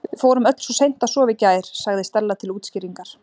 Við fórum öll svo seint að sofa í gær- sagði Stella til útskýringar.